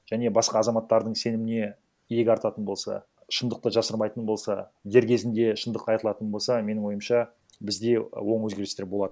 және басқа азаматтардың сеніміне иек артатын болса шындықты жасырмайтын болса дер кезінде шындық айтылатын болса менің ойымша бізде оң өзгерістер болады